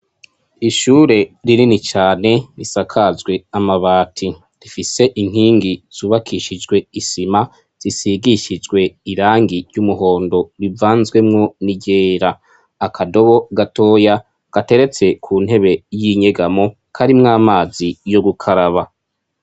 Ishure rinini cane, risakajwe amabati, rifise inkingi zubakishijwe isima zisigishijwe irangi ry'umuhondo rivanzwemwo n'iryera. Akadobo gatoya gateretse ku ntebe y'inyegamo karimwo amazi yo gukaraba.